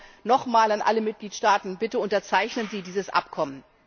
Darum nochmals an alle Mitgliedstaaten Bitte unterzeichnen Sie dieses Abkommen!